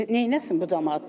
Neynəsin bu camaat?